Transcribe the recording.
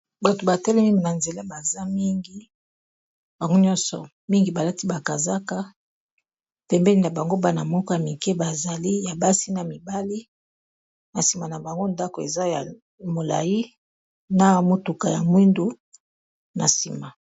bato batelemini na nzela baza mingi bango nyonso mingi balati bakazaka tembeni na bango bana moka mike bazali ya basi na mibale na nsima na bango ndako eza ya molai na motuka ya mwindu na nsima